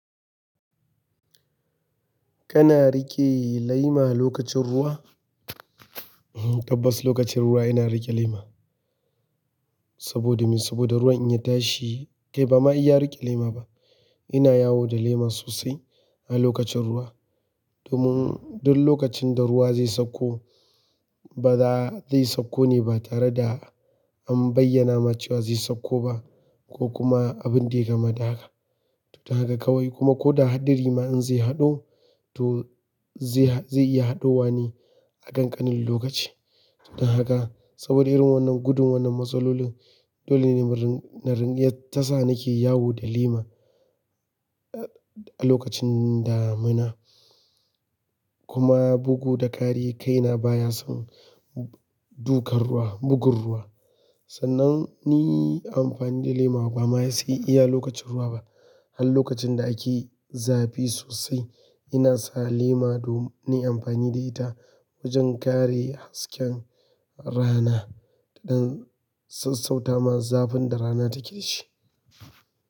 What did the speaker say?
Kana riƙe lema lokacin ruwa? Tabbas lokacin ruwa ina riƙe lema. Saboda me? Saboda ruwan in ya tashi, kai bama iya riƙe lema ba. Ina yawo da lema sosai a lokacin ruwa. Domin duk lokacin da ruwa zai sauko, ba za zai sauko ne ba tare da an bayyana ma cewa zai sauko ba ko kuma abin da yayi kamada haka. Don haka kawai kuma ko da hadari rima in zai haɗo, to zai iya haɗowa ne a kan ƙanin lokaci. Don haka saboda irin wannan gudun wannan matsaloli, dole ne na ringa tasa nake yawo da lema a lokacin damina. Kuma bugu da ƙari kaina baya son dukan ruwa, bugun ruwa. Sannan ni amfani da lema bama sai iya lokacin ruwa ba har lokacin da ake zafi sosai, ina sa lema domin nayi amfani da ita wajen kare hasken rana don sassauta ma zafin da rana take shi.